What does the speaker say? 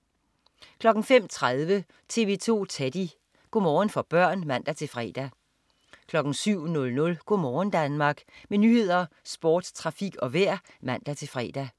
05.30 TV 2 Teddy. Go' morgen for børn (man-fre) 07.00 Go' morgen Danmark. Med nyheder, sport, trafik og vejr (man-fre)